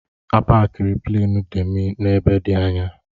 A pakiri Pleenị Demi n'ebe dị anya.